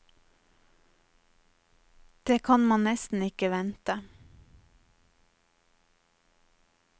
Det kan ein nesten ikkje vente.